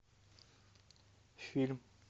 фильм